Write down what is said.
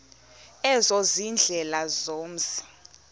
ezo ziindlela zomzi